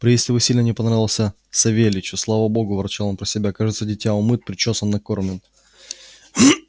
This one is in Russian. приезд его сильно не понравился савельичу слава богу ворчал он про себя кажется дитя умыт причёсан накормлен